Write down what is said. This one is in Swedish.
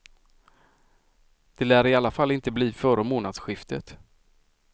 Det lär i alla fall inte bli före månadsskiftet.